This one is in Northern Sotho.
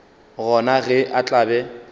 gona ge a tla be